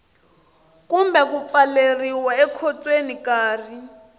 kumbe ku pfaleriwa ekhotsweni nkarhi